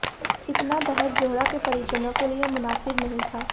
इतना दहेज़ जोहरा के परिजनों के लिए मुनासिब नहीं था